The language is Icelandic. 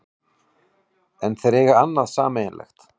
En þeir eiga annað sameiginlegt